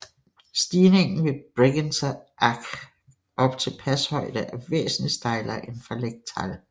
Stigningen fra Bregenzer Ach op til pashøjde er væsentligt stejlere end fra Lechtal